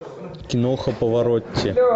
киноха паваротти